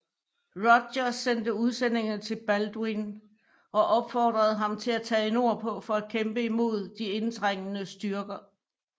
Roger sendte udsendinge til Balduin og opfordrede ham til at tage nordpå for at kæmpe imod de indtrængende styrker